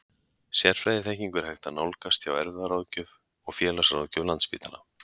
Sérfræðiþekkingu er hægt að nálgast hjá erfðaráðgjöf og félagsráðgjöf Landspítala.